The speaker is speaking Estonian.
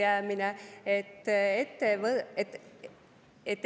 Ka see oli ellujäämine!